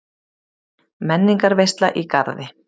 Menningarveisla í Garði